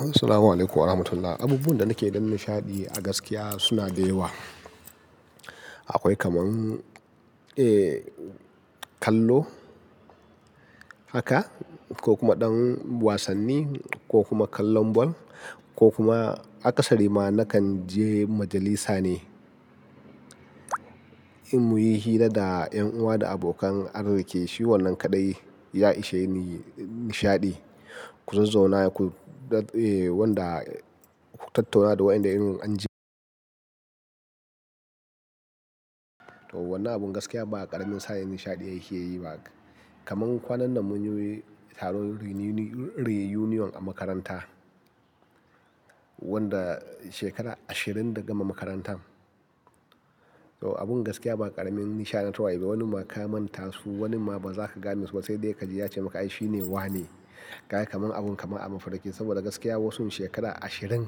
Assalamualaikum warahmatullahi. Abubuwan da nake da nishaɗi a gaskiya suna da yawa. Akwai kaman, eh, kallo haka ko kuma ɗan wasanni ko kuma kallon ball ko kuma a ƙasari ma na kan je majalisa ne in muyi hira da ƴan uwa da abokan arziki. Shi wannan kaɗai ya ishe ni nishaɗi. Ku zazzau na ku, eh, wanda ku tattauna da wayanda in an ji. To wannan abin gaskiya ba ƙaramin saƴ nishaɗi ake yi ba. Kaman kwanan nan mun yi taron reunion a makaranta wanda shekara ashirin daga mu makarantan. To abin gaskiya ba ƙaramin nishaɗi na tawayi ba. Wani ma ka manta su, wani ma ba za ka gane su ba. Sai dai ka ji ya ce maka, ai shi ne wane. Karka man abun kama a mafarkai saboda gaskiya wasu shekara ashirin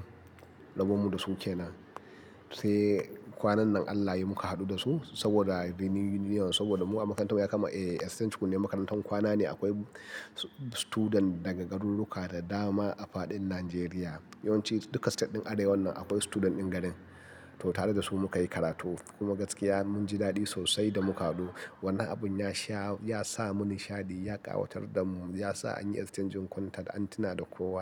rabon mu da su kenan. Sai kwanan nan Allah yayi muka haɗu da su saboda reunion. Saboda mu a makarantar ya kama, eh, exchange kunyar makarantar kwana ne akwai student daga garuruka da dama a fadin Najeriya. Yauanci duka state ɗin Arewa wannan akwai student ɗin garin. To tare da su muka yi karatu. Kuma gaskiya mun ji daɗi sosai da muka haɗu. Wannan abun ya sha, ya sa mun nishaɗi, ya ƙawatar da mu, ya sa an yi exchange kunta an tuna da kowa.